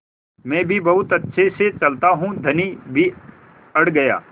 मैं भी बहुत अच्छे से चलता हूँ धनी भी अड़ गया